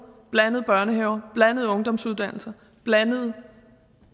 blandede børnehaver blandede ungdomsuddannelser og blandede